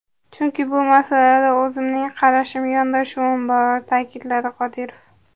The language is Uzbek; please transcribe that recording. Chunki bu masalada o‘zimning qarashim, yondashuvim bor”, ta’kidladi Qodirov.